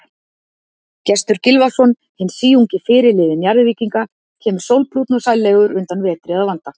Gestur Gylfason, hinn síungi fyrirliði Njarðvíkinga, kemur sólbrúnn og sællegur undan vetri að vanda.